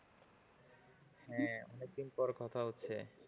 হ্যাঁ অনেক দিন পর কথা হচ্ছে।